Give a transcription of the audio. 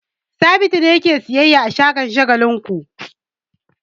Sabitu ne yake sayyayya a shagon Shagalinku.